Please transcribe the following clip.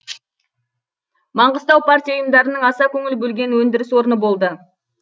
маңғыстау партия ұйымдарының аса көңіл бөлген өндіріс орны болды